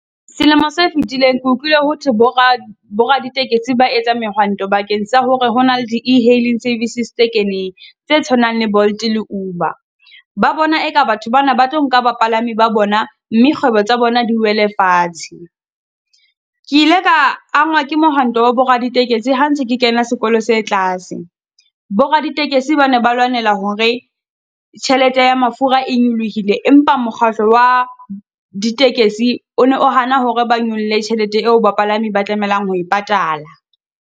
Selemo se fetileng ke utlwile ho thwe bo bo bo raditekesi ba etsa mehwanto bakeng sa hore hona le di E-hailing services tse keneng, tse tshwanang le Bolt le Uber. Ba bona eka batho ba na ba tlo nka bapalami ba bona mme kgwebo tsa bona di wele fatshe. Ke ile ka angwa ke mohwanto wa bo raditekesi ha ntse ke kena sekolo se tlase. Bo raditekesi ba ne ba lwanela hore tjhelete ya mafura e nyolohile, empa mokgatlo wa ditekesi o ne o hana hore ba nyolle tjhelete eo bapalami ba tlamelang ho e patala.